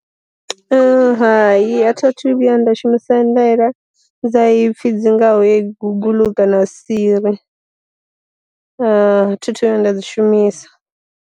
Hai a thi thu vhuya nda shumisa ndela dza ipfhi dzi ngaho ye guguḽu kana siri, thi thu vhuya nda dzi shumisa.